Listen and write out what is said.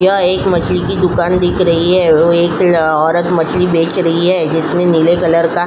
यह एक मछली की दुकान दिख रही है वो एक औरत मछली बेक रही है जिसमे नीले कलर का --